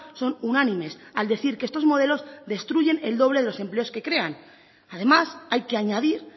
son unánimes al decir que estos modelos destruyen el doble de los empleos que crean además hay que añadir